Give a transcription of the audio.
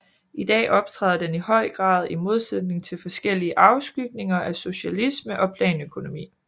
I dag optræder den i høj grad i modsætning til forskellige afskygninger af socialisme og planøkonomi